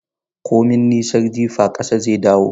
Komi nisar jifa, kasa zai dawo.